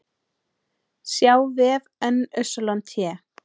sjá vef NYT